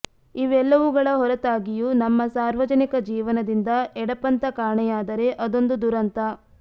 ಇವೆಲ್ಲವುಗಳ ಹೊರತಾಗಿಯೂ ನಮ್ಮ ಸಾರ್ವಜನಿಕ ಜೀವನದಿಂದ ಎಡಪಂಥ ಕಾಣೆಯಾದರೆ ಅದೊಂದು ದುರಂತ